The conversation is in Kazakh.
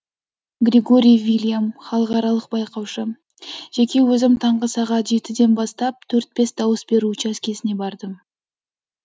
грегорий вильям халықаралық байқаушы жеке өзім таңғы сағат жетіден бастап төрт бес дауыс беру учаскесіне бардым